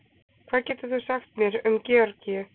hvað getur þú sagt mér um georgíu